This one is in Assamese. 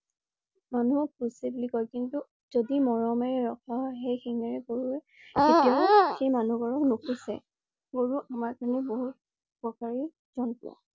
মানুহক খুচে বুলি কয় কিন্তু যদি মৰমেৰে ৰখা হয় সেই শিঙেৰে গৰুৱে তেতিয়া সেই মানুহ ঘৰক নুখোচে । গৰু আমাৰ কাৰণে বহুত উপকাৰী জন্তু।